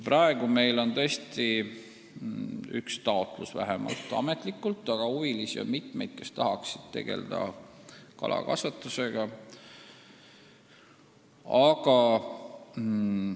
Praegu meil on ametlikult sees üks taotlus, aga huvilisi, kes tahaksid tegelda kalakasvatusega, on mitmeid.